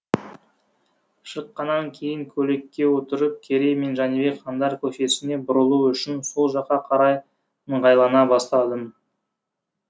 шыққаннан кейін көлікке отырып керей мен жәнібек хандар көшесіне бұрылу үшін сол жаққа қарай ыңғайлана бастадым